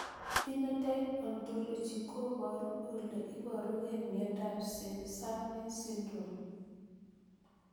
Phenotype Ontology koparu ole iparukei miondop SeSAME syndrome